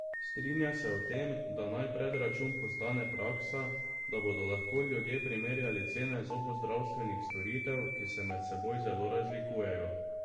Strinja se o tem, da naj predračun postane praksa, da bodo lahko ljudje primerjali cene zobozdravstvenih storitev, ki se med seboj zelo razlikujejo.